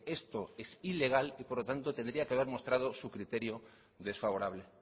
esto es ilegal y por lo tanto tendría que haber mostrado su criterio desfavorable